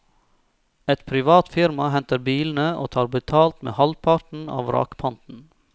Et privat firma henter bilene og tar betalt med halvparten av vrakpanten.